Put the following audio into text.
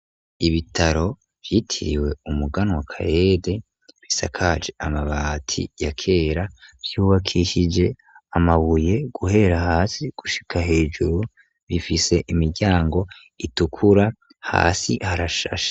Ibitaro vyitiriwe umugana wa kayede bisakaje amabati ya kera vyubakishije amabuye guhera hasi gushika hejuru bifise imiryango itukura hasi harashashe